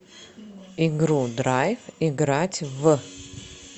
игру драйв играть в